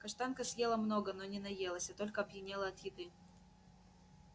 каштанка съела много но не наелась а только опьянела от еды